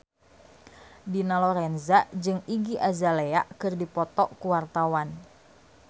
Dina Lorenza jeung Iggy Azalea keur dipoto ku wartawan